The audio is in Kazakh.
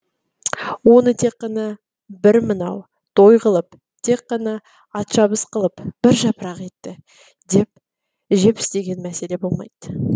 оны тек қана бір мынау той қылып тек қана атшабыс қылып бір жапырақ етті жеп істеген мәселе болмайды